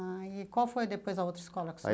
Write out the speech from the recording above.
Ah, e qual foi depois a outra escola que